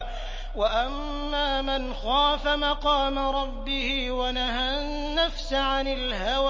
وَأَمَّا مَنْ خَافَ مَقَامَ رَبِّهِ وَنَهَى النَّفْسَ عَنِ الْهَوَىٰ